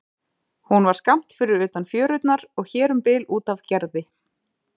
Hún var skammt fyrir utan fjörurnar og hér um bil út af Gerði.